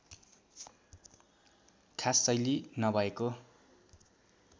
खास शैली नभएको